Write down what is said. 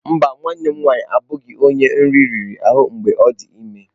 Mba, nwanne m nwanyị abụghị onye nri riri ahụ mgbe ọ dị ime.